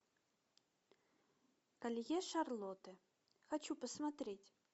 колье шарлотты хочу посмотреть